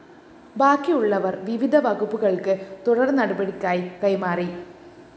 ബാക്കിയുള്ളവ വിവിധ വകുപ്പുകള്‍ക്ക് തുടര്‍നടപടിക്കായി കൈമാറി